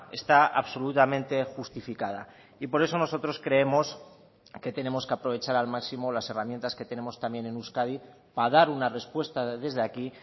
está absolutamente justificada y por eso nosotros creemos que tenemos que aprovechar al máximo las herramientas que tenemos también en euskadi para dar una respuesta desde aquí